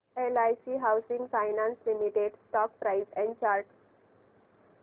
LIC housing finance limited stock price and chart